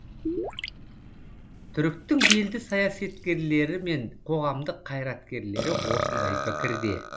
түріктің белді саясаткерлері мен қоғамдық қайраткерлері осындай пікірде